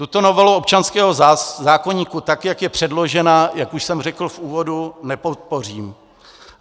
Tuto novelu občanského zákoníku, tak jak je předložena, jak už jsem řekl v úvodu, nepodpořím.